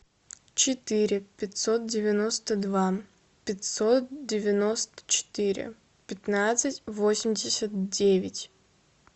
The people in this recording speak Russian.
четыре пятьсот девяносто два пятьсот девяносто четыре пятнадцать восемьдесят девять